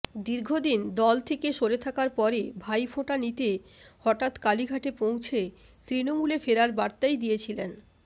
দীর্ঘদিন দল থেকে সরে থাকার পরে ভাইফোঁটা নিতে হঠাৎ কালীঘাটে পৌঁছে তৃণমূলে ফেরার বার্তাই দিয়েছিলেন